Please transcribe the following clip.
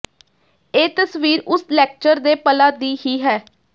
ਇਹ ਤਸਵੀਰ ਉਸ ਲੈਕਚਰ ਦੇ ਪਲਾਂ ਦੀ ਹੀ ਹੈ